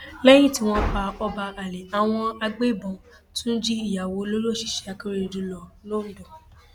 lẹyìn tí wọn pa ọba alay àwọn agbébọn tún jí ìyàwó olórí òṣìṣẹ akérèdọlù lọ lọńdọ